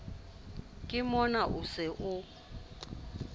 ke mona o se o